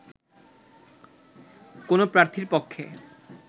কোনো প্রার্থীর পক্ষে